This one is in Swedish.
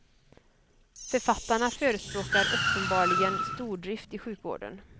Författarna förespråkar uppenbarligen stordrift i sjukvården.